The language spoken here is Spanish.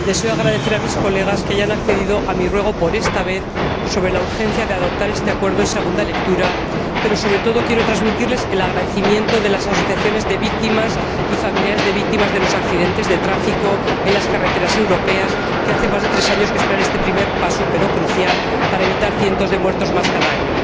Deseo agradecer a sus Señorías que hayan accedido a mi ruego, por esta vez, sobre la urgencia de adoptar este acuerdo en segunda lectura, pero, sobre todo, quiero transmitirles el agradecimiento de las asociaciones de víctimas y familiares de víctimas de los accidentes de tráfico en las carreteras europeas, que hace más de tres años esperan este primer paso, crucial para evitar centenares de muertos más cada año.